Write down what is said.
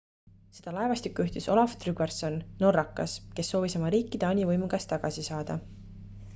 seda laevastikku juhtis olaf trygvasson norrakas kes soovis oma riiki taani võimu käest tagasi saada